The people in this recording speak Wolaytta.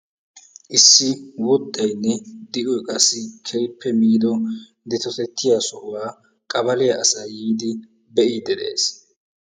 issi wuxxoynne di"oy qassi keehippe miido dettotettiyaa sohuwaa qabaliyaa asay yiidi be'iidi dees.